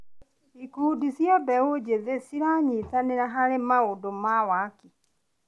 Ikundi cia mbeũ njĩthĩ ciranyitanĩra harĩ maũndũ wa waki.